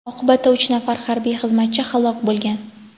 Oqibatda uch nafar harbiy xizmatchi halok bo‘lgan.